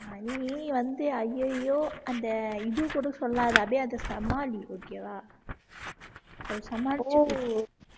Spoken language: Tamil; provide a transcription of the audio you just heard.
நீ வந்து அய்யய்யோ அந்த இது கூட சொல்லாத அப்படியே அதை சமாளி okay வா அதை சமாளி ஒ